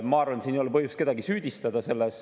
Ma arvan, et selles ei ole põhjust kedagi süüdistada.